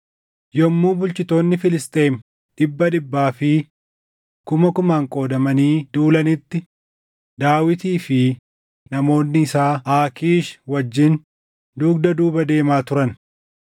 Yommuu bulchitoonni Filisxeem dhibba dhibbaa fi kuma kumaan qoodamanii duulanitti Daawitii fi namoonni isaa Aakiish wajjin dugda duuba deemaa turan.